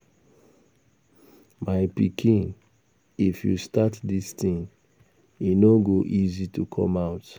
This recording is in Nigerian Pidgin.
My pikin if you start dis thing e no go easy to come out